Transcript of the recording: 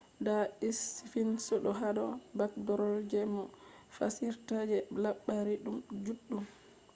da sphinx do hado backdrop be je moh fassirta je labari juddum